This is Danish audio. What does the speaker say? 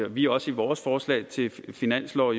vi også i vores forslag til finanslov